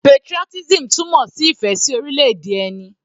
Patriotism túmọ̀ sí ìfẹ́ sí orílẹ̀-èdè ẹni.